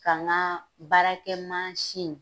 K'an ka baarakɛ